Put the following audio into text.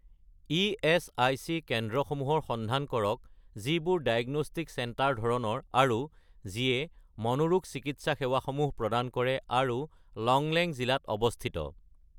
ESIC কেন্দ্ৰসমূহৰ সন্ধান কৰক যিবোৰ ডায়েগনষ্টিক চেণ্টাৰ ধৰণৰ আৰু যিয়ে মনোৰোগ চিকিৎসা সেৱাসমূহ প্ৰদান কৰে আৰু লংলেং জিলাত অৱস্থিত